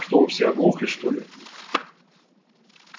что вы все оглохли что ли